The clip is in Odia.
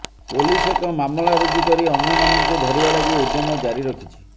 ପୋଲିସ ଏକ ମାମଲା ରୁଜୁ କରି ଅନ୍ୟମାନଙ୍କୁ ଧରିବା ଲାଗି ଉଦ୍ୟମ ଜାରି ରଖିଛି